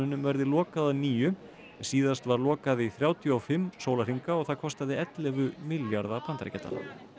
verði lokað að nýju síðast var lokað í þrjátíu og fimm sólarhringa og það kostaði ellefu milljarða bandaríkjadala